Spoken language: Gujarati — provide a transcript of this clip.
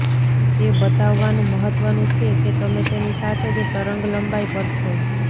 તે બતાવવાનું મહત્વનું છે કે તમે તેની સાથે જ તરંગલંબાઇ પર છો